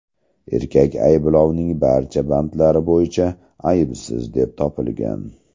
Erkak ayblovning barcha bandlari bo‘yicha aybsiz deb topilgan.